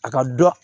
A ka dɔn